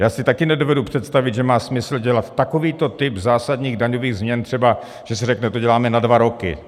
Já si také nedovedu představit, že má smysl dělat takovýto typ zásadních daňových změn, třeba že se řekne, to děláme na dva roky.